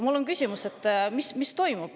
Mul on küsimus, mis toimub.